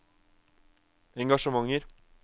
engasjementer